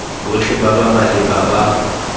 botlhe ba ba maleba ba